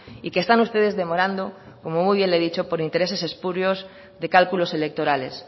y que están ustedes demorando como muy bien le he dicho por intereses espurios de cálculos electorales